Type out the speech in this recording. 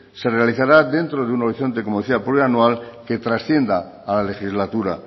se realizará dentro de un horizonte como decía plurianual que transcienda a la legislatura